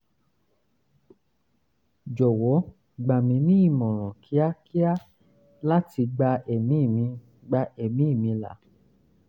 jọwọ gbà mí ní ìmọ̀ràn kíákíá láti gba ẹ̀mí mi gba ẹ̀mí mi là